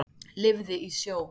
Lifði í sjó.